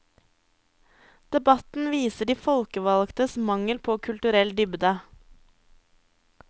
Debatten viser de folkevalgtes mangel på kulturell dybde.